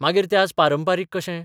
मागीर तें आज पारंपारीक कशें?